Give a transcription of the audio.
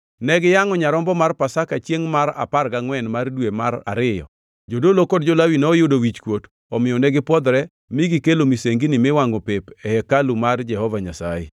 Ne giyangʼo nyarombo mar Pasaka Chiengʼ mar apar gangʼwen mar dwe mar ariyo jodolo kod jo-Lawi noyudo wichkuot omiyo negipwodhore mi gikelo misengini miwangʼo pep e hekalu mar Jehova Nyasaye.